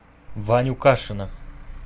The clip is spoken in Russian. ваню кашина